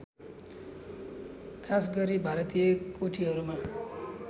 खासगरी भारतीय कोठीहरूमा